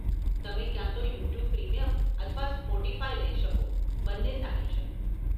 તમે ક્યાં તો યુટ્યુબ પ્રીમિયમ અથવા સ્પોટીફાય લઇ શકો, બંને સારી છે.